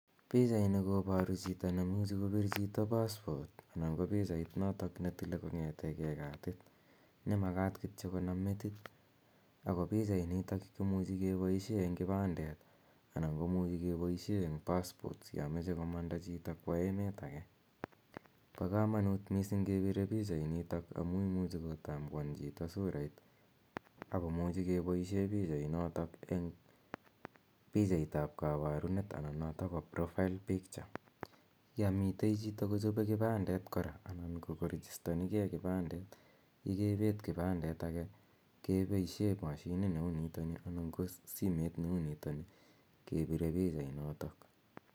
Pichait koparu chito neimuchi kopir chito paspot anan ko pichait notok netile kong'ete ke katit ne makat kito konam metit. Ako pichainito komuchi kepaishe eng' kipandet anan komuchi kepaishe eng' paspots ya mache komanda chito kowa emet age. Pa kamanut missing' kepire pichainitok amu imuchi kotambuan chito surait ako muchi kepaishe pichainotok eng' pichait ap kaparunet anan notok po profile picture. Ya mite chito kochope kipandet kora anan ko korejistani ge kikipandet, yekepet kipandet age kepaishe mashinit ne u nitani anan ko simet ne u nitani kepire pichainotok.